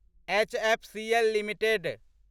HFCL limited